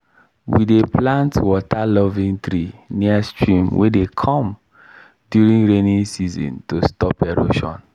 we dey plant water-loving tree near stream wey dey come during rainy season to stop erosion